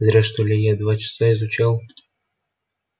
зря что ли я два часа изучал